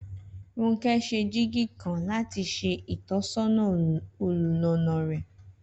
Rónkẹ́ ṣe jíìgì kan láti ṣe ìtọ́sọ́nà olùlàànà rẹ